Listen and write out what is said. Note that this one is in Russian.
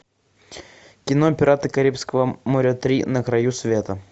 кино пираты карибского моря три на краю света